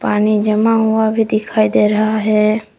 पानी जमा हुआ भी दिखाई दे रहा है।